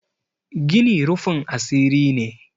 gini rufin asiri ne